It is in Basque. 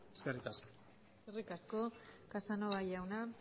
eskerrik asko eskerrik asko casanova jauna